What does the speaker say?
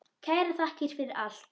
Kærar þakkir fyrir allt.